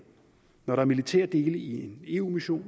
når der er militære dele i en eu mission